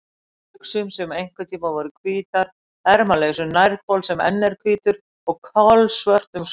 buxum sem einhverntíma voru hvítar, ermalausum nærbol sem enn er hvítur og kolsvörtum sokkum.